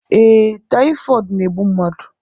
Ee, tayifọọdu na-egbụ mmadụ